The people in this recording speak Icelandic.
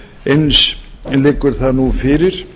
eins liggur það nú fyrir